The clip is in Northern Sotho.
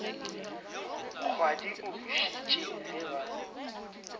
kgwadi o bušitše ge ba